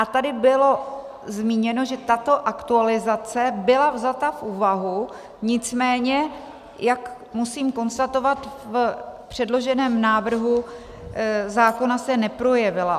A tady bylo zmíněno, že tato aktualizace byla vzata v úvahu, nicméně, jak musím konstatovat, v předloženém návrhu zákona se neprojevila.